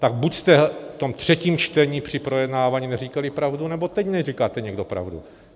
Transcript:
Tak buď jste v tom třetím čtení při projednávání neříkali pravdu, nebo teď neříkáte někdo pravdu.